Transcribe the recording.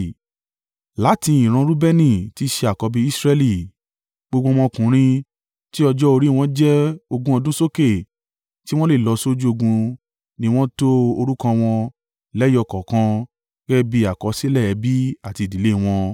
Láti ìran Reubeni tí í ṣe àkọ́bí Israẹli, gbogbo ọmọkùnrin tí ọjọ́ orí wọn jẹ́ ogún ọdún sókè tí wọ́n lè lọ sójú ogun ni wọ́n to orúkọ wọn, lẹ́yọ kọ̀ọ̀kan gẹ́gẹ́ bí àkọsílẹ̀ ẹbí àti ìdílé wọn.